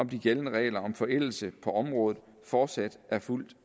om de gældende regler om forældelse på området fortsat er fuldt